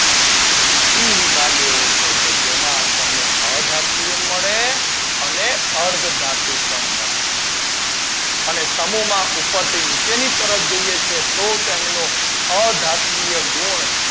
પી વિભાગ એવો છે કે જેમાં અધાતુઓ મળે અને અર્ધ ધાતુ પણ મળટી હોય અને સમૂહ માં ઉપર થી નીચે ની તરફ જઈએ તો તેનો અધાતવીય ગુણ